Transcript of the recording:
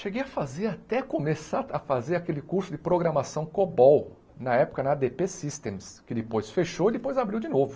Cheguei a fazer, até começar a fazer aquele curso de programação Cobol na época na á dê pê Systems, que depois fechou e depois abriu de novo.